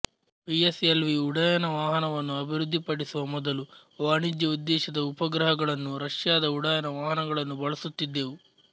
P S L V ಉಡ್ಡಯನ ವಾಹನವನ್ನು ಅಭಿವೃದ್ಧಿಪಡಿಸುವ ಮೊದಲು ವಾಣಿಜ್ಯ ಉದ್ದೇಶದ ಉಪಗ್ರಹಗಳನ್ನು ರಷ್ಯಾದ ಉಡ್ಡಯನ ವಾಹನಗಳನ್ನು ಬಳಸುತ್ತಿದ್ದೆವು